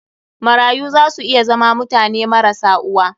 Marayu za su iya zama mutane marasa uwa.